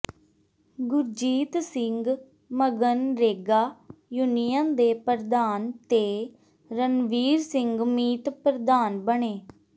Gurjeet Singh MGNREGA union ਦੇ ਪ੍ਰਧਾਨ ਤੇ ਰਣਵੀਰ ਸਿੰਘ ਮੀਤ ਪ੍ਰਧਾਨ ਬਣੇ